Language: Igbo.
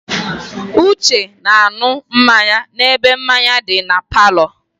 Uche na-aṅụ mmanya n'ebe mmanya di na palọ.